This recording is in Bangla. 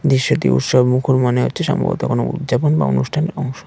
দৃশ্যটি উৎসবমুখর মনে হচ্ছে সম্ভবত কোন উদযাপন বা অনুষ্ঠানের অংশ।